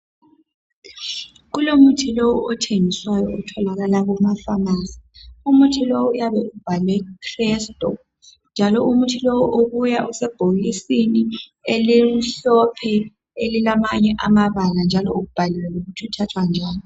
Kulomuthi lowo othengiswayo otholakala kuma pharmacy . Umuthi lowo uyabe ubhalwe Crestor njalo umuthi lowo ubuya usebhokisini elimhlophe elilamanye amabala njalo ubhaliwe ukuthi uthathwa njani.